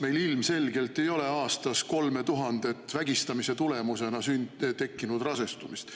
Meil ilmselgelt ei ole aastas 3000 vägistamise tekkinud rasestumist.